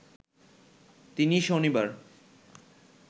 তিনি শনিবার